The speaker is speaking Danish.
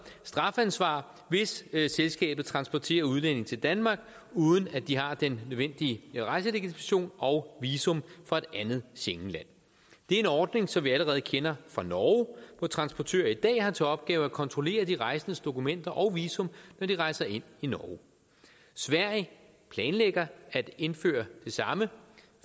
strafansvar hvis selskabet transporterer udlændinge til danmark uden at de har den nødvendige rejselegitimation og visum fra et andet schengenland det er en ordning som vi allerede kender fra norge hvor transportører i dag har til opgave at kontrollere de rejsendes dokumenter og visum når de rejser ind i norge sverige planlægger at indføre det samme